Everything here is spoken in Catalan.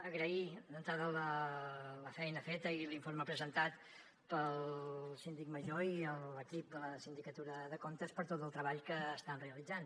agrair d’entrada la feina feta i l’informe presentat pel síndic major i l’equip de la sindicatura de comptes per tot el treball que estan realitzant